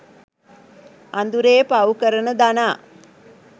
අඳුරේ පව් කරන දනා